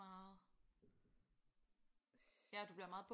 Meget ja du bliver meget